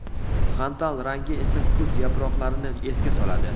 Xantal rangi esa kuz yaproqlarini esga soladi.